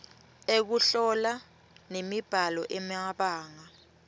ekuhlola nemibhalo emabanga